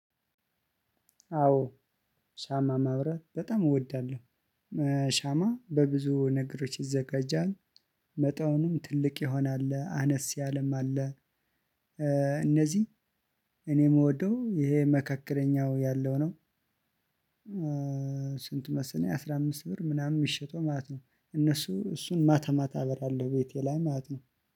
አዎ ሻማ ማብራት በጣም እወዳለሁ። ሻማ በብዙ ነገሮች ይዘጋጃል መጠኑም ትልቅ የሆነ አለ አነስ ያለም አለ። እነዚህ እኔ የምወደው ይሄ መካከለኛው ያለው ነው። ስንት? መሰለኝ አስራ አምስት ብር ምናምን ሚሸጠው ማለት ነው። እነሱ እሱን ማታማታ አበራለሁ ቤቴ ላይ ማለት ነው።